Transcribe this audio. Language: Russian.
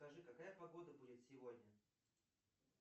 скажи какая погода будет сегодня